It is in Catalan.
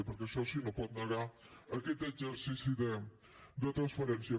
perquè això sí no pot negar aquest exercici de transparència